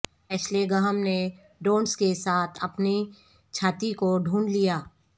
Ashley Graham نے donuts کے ساتھ اپنی چھاتی کو ڈھونڈ لیا